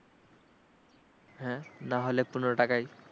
হ্যাঁ নাহলে পনেরো টাকাই ।